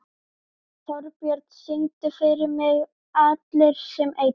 Þorbjörn, syngdu fyrir mig „Allir sem einn“.